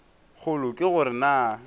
kgolo ke go re na